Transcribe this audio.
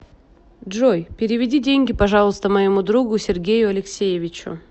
джой переведи деньги пожалуйста моему другу сергею алексеевичу